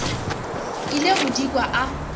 ile go di kwa a